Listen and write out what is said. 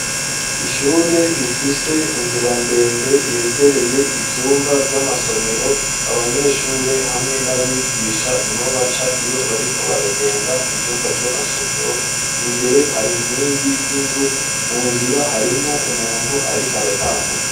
Ishure rifise inzira ndende yegereye ivyumba vy'amasomero abanyeshuri hamwe n'abigisha niho baca iyo bariko baragenda mu vyumba vy'amasomero imbere hari nkingi z'inzu mu nzira harimwo umuntu ariko aratambuka.